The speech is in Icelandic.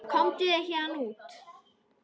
Komdu þér héðan út.